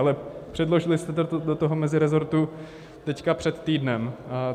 Ale předložili jste to do toho mezirezortu teď před týdnem.